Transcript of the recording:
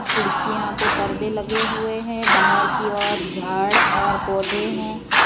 खिड़कियां पे परदे लगे हुए हैं बाहर की और झाड़ और पौधे हैं।